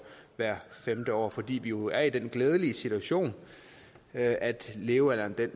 hvert femte år fordi vi jo er i den glædelige situation at at levealderen